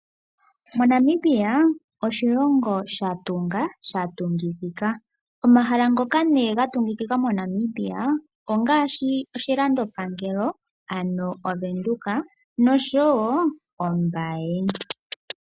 Namibia oshilongo sha tunga sha tungikika. Omahala ngoka nee ga tungikika ongaashi oshilando pangelo ano oVenduka osho wo Ombaye.